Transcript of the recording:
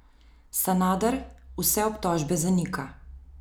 Sanader vse obtožbe zanika.